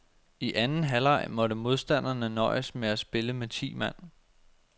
I anden halvleg måtte modstanderne nøjes med at spille med ti mand.